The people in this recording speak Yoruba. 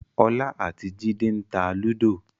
ọlá àti jide ń tá Ludo